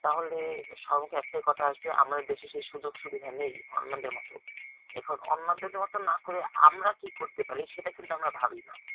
তাহলে সবের মুখে একটাই কথা আসবে আমাদের দেশে সেই সুযোগ সুবিধা নেই আমাদের মতো এখন অন্যদের মতো না করে আমরা কি করতে পারি সেটা কিন্তু আমরা ভাবিনা